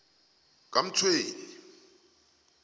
kamtshweni